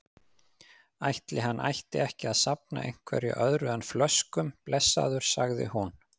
Ætli hann ætti ekki að safna einhverju öðru en flöskum, blessaður, sagði hún.